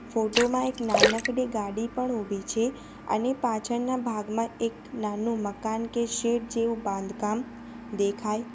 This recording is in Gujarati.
ફોટો માં એક નાનકડી ગાડી પણ ઉભી છે અને પાછળના ભાગમાં એક નાનું મકાન કે શેડ જેવું બાંધકામ દેખાય છ --